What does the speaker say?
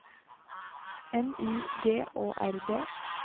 N Y G Å R D